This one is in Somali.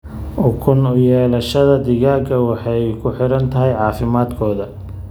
Ukun u yeelashada digaagga waxay ku xiran tahay caafimaadkooda.